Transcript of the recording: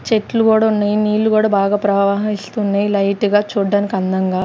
చెట్లు గూడ ఉన్నాయి నీళ్లు గూడ బాగా ప్రవహిస్తున్నాయి లైట్ గా చూడడానికి అందంగా.